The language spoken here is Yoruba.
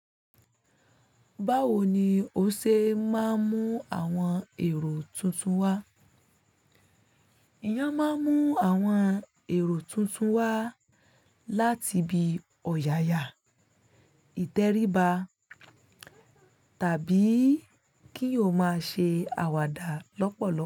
Báwo ni o ṣe máa ń mú àwọn èrò tuntun wá? Èèyàn máa ń mú àwọn èrò tuntun wá láti ibi ọ̀yàyà, ìtẹríba tàbí kí ó máa ṣe àwàdà lọ́pọ̀lọpọ̀.